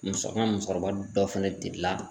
Muso an ga musɔkɔrɔba dɔ fɛnɛ delila